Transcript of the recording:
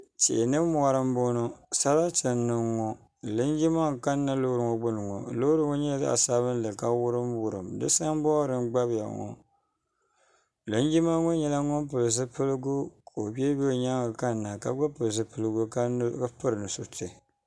tihi ni mori n bɔŋɔ saratɛ n niŋ ŋɔ linjima n kana lori ŋɔ gbani ŋɔ lori ŋɔ nyɛla zaɣ' sabilinli ma wurim wurim sabori n gbaya ŋɔ lijnjima ŋɔ yina pɛli zibiligu so bɛ lori shɛŋa kana ka gba pɛli zibiligu gbabi ka pɛri nusuritɛ